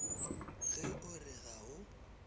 ge o re ga o